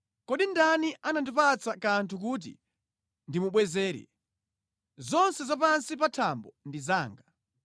Kodi ndani anandipatsa kanthu kuti ndimubwezere? Zonse za pansi pa thambo ndi zanga.